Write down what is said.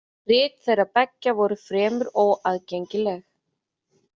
Rit þeirra beggja voru fremur óaðgengileg.